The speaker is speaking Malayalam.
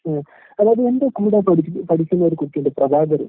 ഉം അതായത് എന്റെ കൂടെ പഠിച്ചിട്ട് പഠിക്കുന്ന ഒരു കുട്ടിയിണ്ട് പ്രഭാകരൻ.